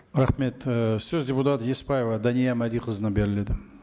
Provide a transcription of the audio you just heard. рахмет і сөз депутат еспаева дания мәдиқызына беріледі